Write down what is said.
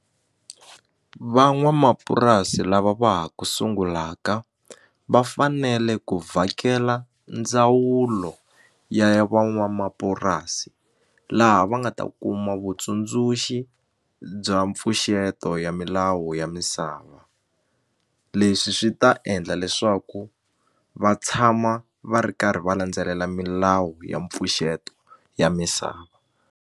Van'wamapurasi lava va ha ku sungulaka vafanele ku vhakela ndzawulo ya ya van'wamapurasi laha va nga ta kuma vutsundzuxi bya mpfuxeto ya milawu ya misava leswi swi ta endla leswaku va tshama va ri karhi va landzelela milawu ya mpfuxeto ya misava.